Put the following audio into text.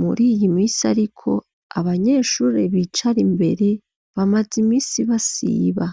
muri iyi misi, ariko abanyeshure bicara imbere bamaze imisi basiba.